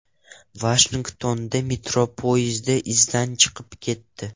Vashingtonda metro poyezdi izdan chiqib ketdi.